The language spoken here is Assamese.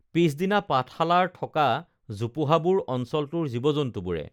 পিছদিনা পাঠশালাৰ থকা জোপোহাবোৰ অঞ্চলটোৰ জীৱজন্তুবোৰে